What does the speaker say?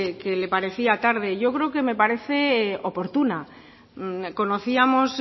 que le parecía tarde yo creo que me parece oportuna conocíamos